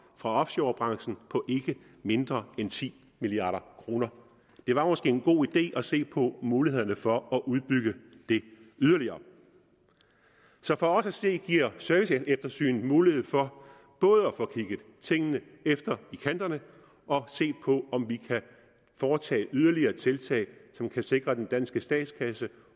fra offshorebranchen på ikke mindre end ti milliard kroner det var måske en god idé at se på mulighederne for at udbygge det yderligere så for os at se giver serviceeftersynet mulighed for både at få kigget tingene efter i kanterne og at se på om vi kan foretage yderligere tiltag som kan sikre den danske statskasse